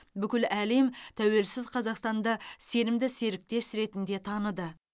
бүкіл әлем тәуелсіз қазақстанда сенімді серіктес ретінде таныды